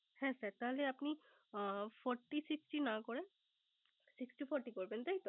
হ্যা sir তাহলে আপনি Forty sixty না sixty forty করবেন তাইতো